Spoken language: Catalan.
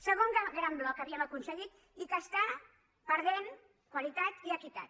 segon gran bloc que havíem aconseguit que està perdent qualitat i equitat